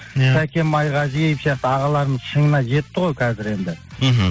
иә сәкен майғазиев сияқты ағаларымыз шыңына жетті ғой қазір енді мхм